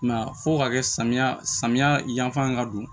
Mɛ fo ka kɛ samiya samiya yan fan ka don